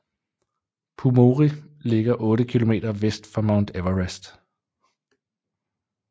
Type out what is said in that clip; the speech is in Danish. Pumori ligger otte kilometer vest for Mount Everest